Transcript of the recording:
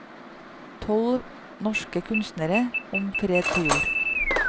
Tolv norske kunstnere om fred på jord.